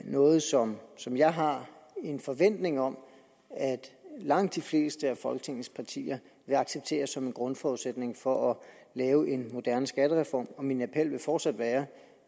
noget som som jeg har en forventning om at langt de fleste af folketingets partier vil acceptere som en grundforudsætning for at lave en moderne skattereform og min appel vil fortsat være